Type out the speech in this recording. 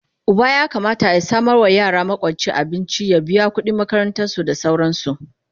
Uba ya Kamata ya samawa yara makwanci, abinci, ya biya kudin makaranta da sauransu